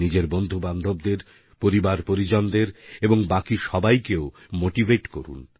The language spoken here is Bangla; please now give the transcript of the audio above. নিজের বন্ধুবান্ধবদের পরিবারপরিজনদের এবং বাকি সবাইকেও মোটিভেট করুন